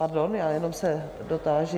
Pardon, já jenom se dotáži...